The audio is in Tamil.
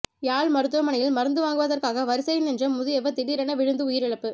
யாழ் மருத்துவமனையில் மருந்து வாங்குவதற்காக வரிசையில் நின்ற முதியவர் திடீரென விழுந்து உயிரிழப்பு